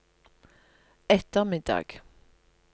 ettermiddag